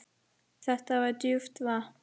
Þetta er djúpt vatn.